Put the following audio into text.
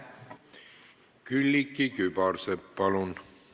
Külliki Kübarsepp, palun!